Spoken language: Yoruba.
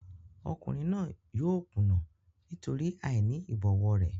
Ọkùnrin náà yóò kùnà nítorí àìní ìbọ̀wọ̀ rẹ̀.